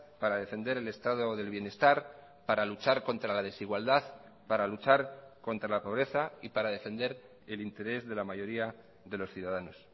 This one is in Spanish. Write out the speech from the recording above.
para defender el estado del bienestar para luchar contra la desigualdad para luchar contra la pobreza y para defender el interés de la mayoría de los ciudadanos